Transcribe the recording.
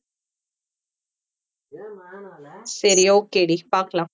சரி okay டி பாக்கலாம்.